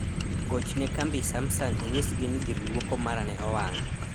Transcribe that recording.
gochne kambi samsung inyisgi ni gir luoko mara ne owang'